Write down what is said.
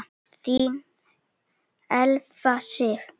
Þín Elfa Sif.